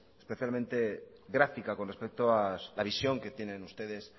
especialmente gráfica con respecto a la visión que tienen ustedes